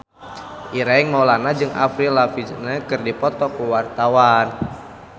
Ireng Maulana jeung Avril Lavigne keur dipoto ku wartawan